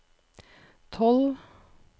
tolv